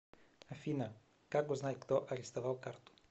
афина как узнать кто арестовал карту